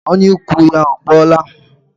Ọnyà ụkwụ ya ọ kpọọla?